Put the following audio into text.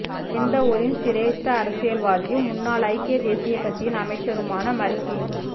நிந்தவூரின் சிரேஷ்ட அரசியல்வாதியும் முன்னாள் ஐக்கிய தேசியக் கட்சியின் அமைச்சருமான மர்ஹூம்